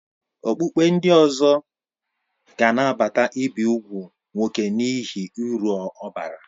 Okpukpe ndị ọzọ ga-anabata ibi úgwù nwoke n'ihi uru ọ bara